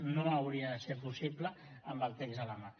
no hauria de ser possible amb el text a la mà